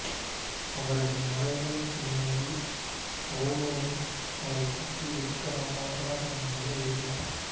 அவரது மறைவின் பின்னணியில் பவுலீனுஸ் அவரைப் பற்றி உருக்கமான வரலாறு ஒன்றினை எழுதினார்